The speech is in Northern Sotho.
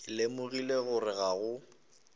ke lemogile gore ga go